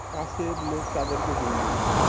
কাছের লোক তাদের কে ঋণ দেবে।